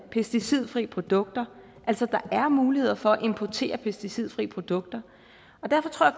pesticidfri produkter altså der er mulighed for at importere pesticidfri produkter og derfor tror